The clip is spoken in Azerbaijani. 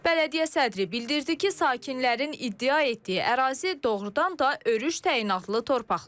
Bələdiyyə sədri bildirdi ki, sakinlərin iddia etdiyi ərazi doğurdan da örüş təyinatlı torpaqlar olub.